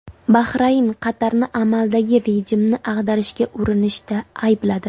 Bahrayn Qatarni amaldagi rejimni ag‘darishga urinishda aybladi.